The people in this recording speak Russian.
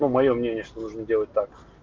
моё мнение что нужно делать так